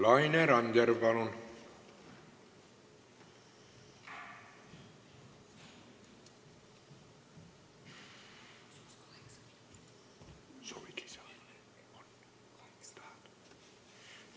Laine Randjärv, palun!